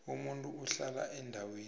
umuntu ohlala endaweni